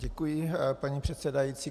Děkuji, paní předsedající.